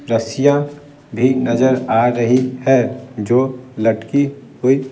रस्सियां भी नजर आ रही है जो लटकी हुई --